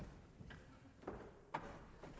er